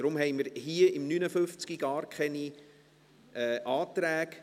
Deshalb haben wir hier, unter dem Traktandum 59, gar keine Anträge.